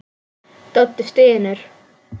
Doddi stynur.